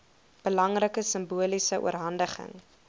belangrike simboliese oorhandiging